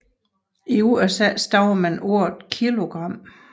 I USA stavede man ordet kilogram